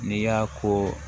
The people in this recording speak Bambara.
N'i y'a ko